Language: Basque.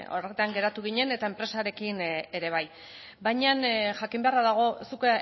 geratu ginen eta enpresarekin ere bai baina jakin beharra dago zuk